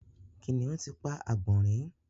Kìnìún ti pa àgbònrín